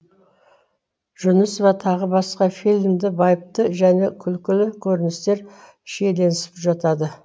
жүнісова тағы басқа фильмде байыпты және күлкілі көріністер шиеленісіп жатады